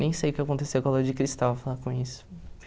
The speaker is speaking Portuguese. Nem sei o que aconteceu com a Lua de Cristal, falando nisso.